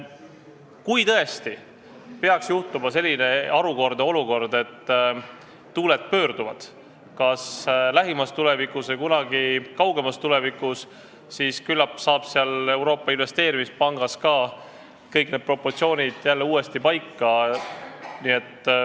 Kui tõesti peaks juhtuma selline harukordne asi, et tuuled pöörduvad kas lähimas tulevikus või kunagi kaugemas tulevikus, siis küllap saab Euroopa Investeerimispangas ka kõik proportsioonid uuesti paika.